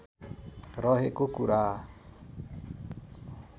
रहेको कुरा